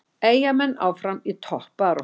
Eyjamenn áfram í toppbaráttu